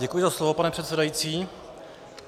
Děkuji za slovo, pane předsedající.